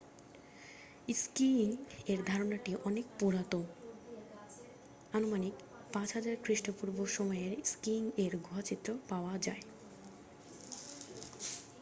skiing এর ধারণাটি অনেক পুরানো আনুমানিক 5000 খ্রিস্টপূর্ব সময়ের স্কিইং এর গুহা চিত্র পাওয়া যায়